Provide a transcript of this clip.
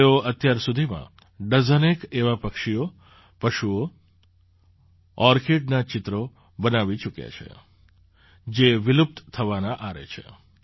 તેઓ અત્યાર સુધીમાં ડઝનેક એવાં પક્ષીઓ પશુઓ ઑર્કિડનાં ચિત્ર બનાવી ચૂક્યાં છે જે વિલુપ્ત થવાના આરે છે